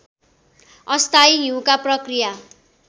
अस्थायी हिउँका प्रक्रिया